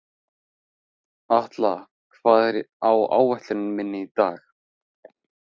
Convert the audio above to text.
Atla, hvað er á áætluninni minni í dag?